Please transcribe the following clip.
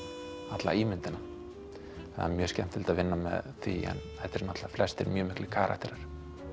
alla ímyndina það er mjög skemmtilegt að vinna með því en þetta eru náttúrulega flestir mjög miklir karakterar